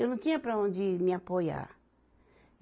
Eu não tinha para onde ir me apoiar.